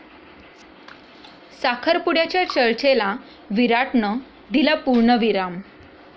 साखरपुड्याच्या चर्चेला विराटनं दिला पूर्णविराम